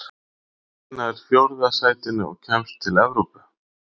Hvaða lið nær fjórða sætinu og kemst til Evrópu?